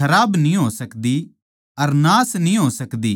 खराब न्ही हो सकदी अर नाश न्ही हो सकदी